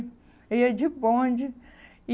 Ia de bonde. E